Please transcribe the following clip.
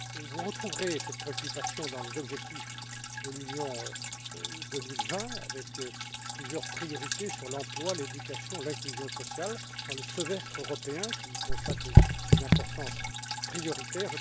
Vous retrouverez cette préoccupation dans les objectifs de l'Union 2020, avec plusieurs priorités concernant l'emploi, l'éducation, l'inclusion sociale, dans le semestre européen qui y consacre une importance prioritaire.